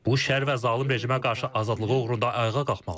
Bu şər və zalım rejimə qarşı azadlığı uğrunda ayağa qalxmalıdır.